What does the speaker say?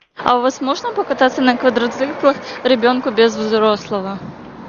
а у вас можно покататься на квадроциклах ребенку без взрослого